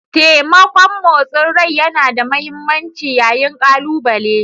Taimakon motsin rai yana da mahimmanci yayin kalubale